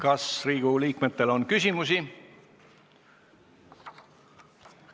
Kas Riigikogu liikmetel on küsimusi?